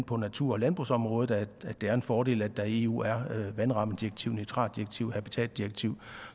på natur og landbrugsområdet er en fordel at der i eu er vandrammedirektiv nitratdirektiv habitatdirektiv